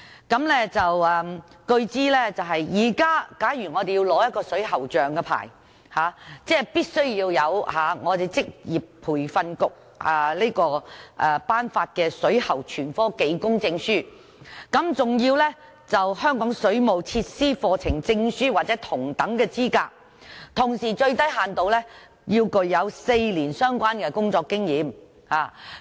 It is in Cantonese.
據我所知，假如現時我們要申領水喉匠牌照，必須具備職業訓練局頒發的水喉全科技工證書，更要求香港水務設施課程證書或同等資格，同時最低限度要具有4年相關工作經驗。